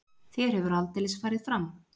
Þér hefur aldeilis farið fram.